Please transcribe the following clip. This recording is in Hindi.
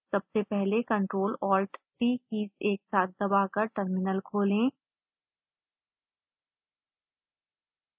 सबसे पहले ctrl+alt+t कीज एक साथ दबाकर टर्मिनल खोलें